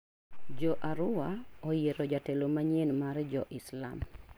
Jo Arua oyiero jatelo manyien mar Jo Islam.